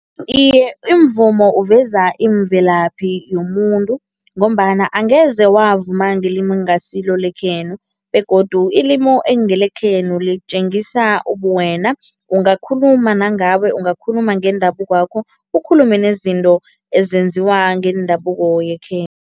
Iye, imvumo uveza imvelaphi yomuntu ngombana angeze wavuma ngelimu ekungasilo lekhenu begodu ilimu ekungelekhenu litjengisa ubuwena. Ungakhuluma nangabe, ungakhuluma ngendabukwakho, ukhulume nezinto ezenziwa ngendabuko